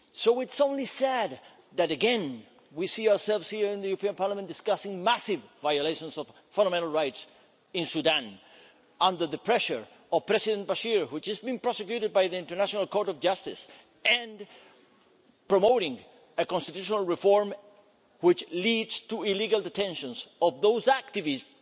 So, it's only sad that again we see ourselves here in the European Parliament discussing massive violations of fundamental rights in Sudan under the pressure of President Bashir who has just been prosecuted by the International Court of Justice and promoting a constitutional reform, which leads to illegal detentions of those activists